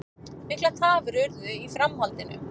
Miklar tafir urðu í framhaldinu